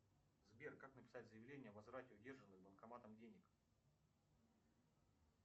сбер как написать заявление о возврате удержанных банкоматом денег